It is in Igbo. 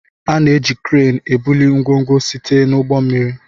A na-eji kreenu ebuli ngwongwo site n'ụgbọ mmiri.